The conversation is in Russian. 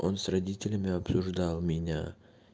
он с родителями обсуждал меня